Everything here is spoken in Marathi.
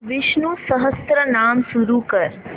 विष्णु सहस्त्रनाम सुरू कर